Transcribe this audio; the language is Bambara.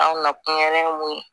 An nakun yɛrɛn ye mun ye